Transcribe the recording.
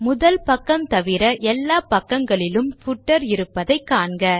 முதல் பக்கம் தவிர எல்லா பக்கங்களிலும் பூட்டர் இருப்பதை காண்க